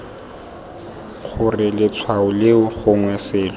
gore letshwao leo gongwe selo